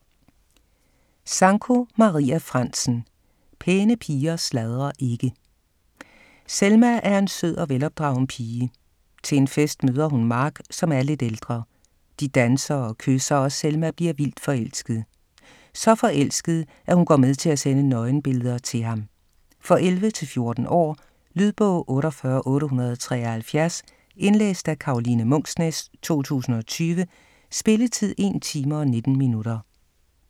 Sanko, Maria Frantzen: Pæne piger sladrer ikke Selma er en sød og velopdragen pige. Til en fest møder hun Mark, som er lidt ældre. De danser og kysser, og Selma bliver vildt forelsket. Så forelsket at hun går med til at sende nøgenbilleder til ham. For 11-14 år. Lydbog 48873 Indlæst af Karoline Munksnæs, 2020. Spilletid: 1 time, 19 minutter.